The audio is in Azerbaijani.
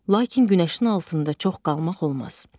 Lakin günəşin altında çox qalmaq olmaz.